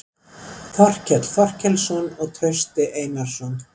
Þorkell Þorkelsson og Trausti Einarsson.